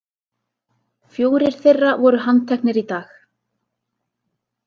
Fjórir þeirra voru handteknir í dag